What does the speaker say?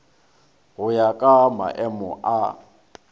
go ya ka maemo a